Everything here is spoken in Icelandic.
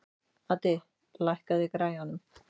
Addi, hækkaðu í græjunum.